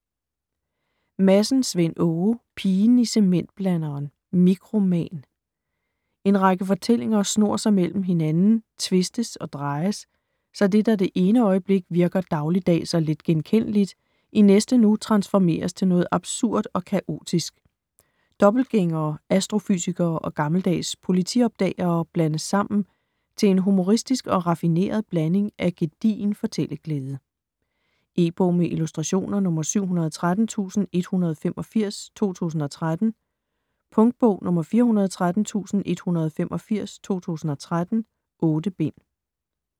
Madsen, Svend Åge: Pigen i cementblanderen: mikroman En række fortællinger snor sig mellem hinanden, tvistes og drejes, så det, der det ene øjeblik virker dagligdags og letgenkendeligt, i næste nu transformeres til noget absurd og kaotisk. Dobbeltgængere, astrofysikere og gammeldags politiopdagere blandes sammen til en humoristisk og raffineret blanding af gedigen fortælleglæde. E-bog med illustrationer 713185 2013. Punktbog 413185 2013. 8 bind.